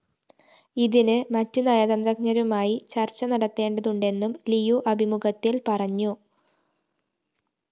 ഇതിന് മറ്റ് നയതന്ത്രജ്ഞരുമായി ചര്‍ച്ച നടത്തേണ്ടതുണ്ടെന്നും ലിയു അഭിമുഖത്തില്‍ പറഞ്ഞു